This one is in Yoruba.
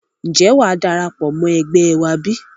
Ǹjẹ́ wàá darapọ̀ mọ́ ẹgbẹ́ wá bí?